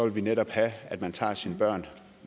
vi netop have at man tager sine børn